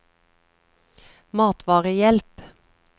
matvarehjelp